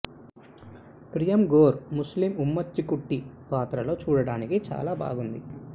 ప్రియల్ గోర్ ముస్లీం ఉమ్మచ్చి కుట్టి పాత్రలో చూడటానికి చాలా బాగుంది